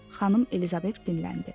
Xanım Elizabet dinləndi.